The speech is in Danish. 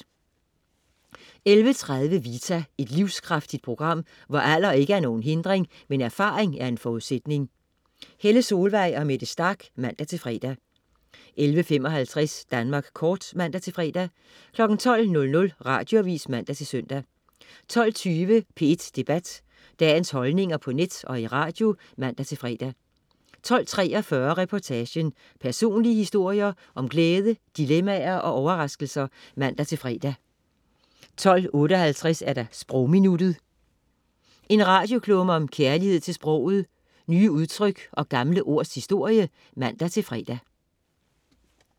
11.30 Vita. Et livskraftigt program, hvor alder ikke er nogen hindring, men erfaring en forudsætning. Helle Solvang og Mette Starch (man-fre) 11.55 Danmark Kort (man-fre) 12.00 Radioavis (man-søn) 12.20 P1 Debat. Dagens holdninger på net og i radio (man-fre) 12.43 Reportagen. Personlige historier om glæde, dilemmaer og overraskelser (man-fre) 12.58 Sprogminuttet. En radioklumme om kærlighed til sproget, nye udtryk og gamle ords historie (man-fre)